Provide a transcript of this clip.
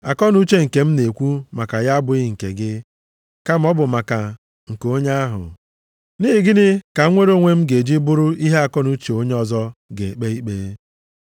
Akọnuche nke m na-ekwu maka ya abụghị nke gị, kama ọ bụ maka nke onye ahụ. Nʼihi gịnị ka mnwere onwe m ga-eji bụrụ ihe akọnuche onye ọzọ ga-ekpe ikpe?